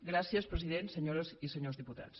gràcies president senyores i senyors diputats